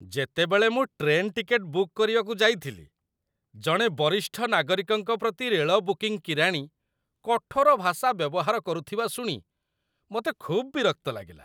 ଯେତେବେଳେ ମୁଁ train ticket book କରିବାକୁ ଯାଇଥିଲି, ଜଣେ ବରିଷ୍ଠ ନାଗରିକଙ୍କ ପ୍ରତି ରେଳ ବୁକିଂ କିରାଣୀ କଠୋର ଭାଷା ବ୍ୟବହାର କରୁଥିବା ଶୁଣି ମୋତେ ଖୁବ୍ ବିରକ୍ତ ଲାଗିଲା।